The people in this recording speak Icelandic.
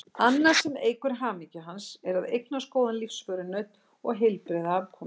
Annað sem eykur hamingju hans er að eignast góðan lífsförunaut og heilbrigða afkomendur.